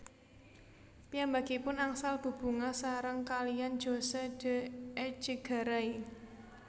Piyambakipun angsal bebungah sareng kaliyan José de Echegaray